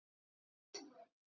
Man það.